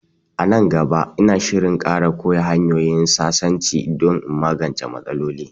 A nan gaba, ina shirin ƙara koya hanyoyin sasanci don in magance matsalol